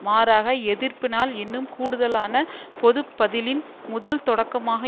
மாறாக எதிர்ப்பு நாள் இன்னும் கூடுதலான பொது பதிலின் முதல் தொடக்கமாக